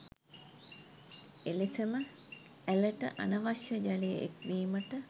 එලෙසම ඇළට අනවශ්‍ය ජලය එක්වීමට